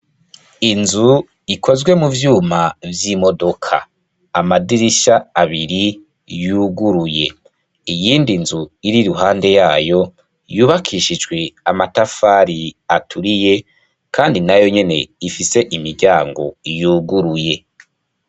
Inzu ikozwe mu vyuma vy'imodoka. Amadirisha abiri yuguruye. Iyindi nzu iri iruhande yayo yubakishijwe amatafari aturiye kandi nayo nyene ifise imiryango yuguruye.